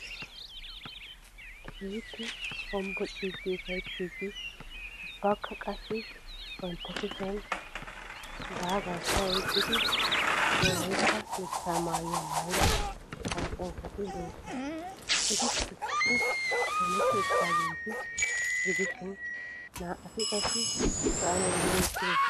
Keehiippe hombbocciidi ufayttiidi ubbakka qassi bantta kushshiyan daagaakka oyqqida wolaitta dichchaa maayuwaa maayida kaassanchchatti doosona. Ettikka issippe qoometti uttidaageeta gidishshin na'atti qassi sa'aan wulli uttidosona.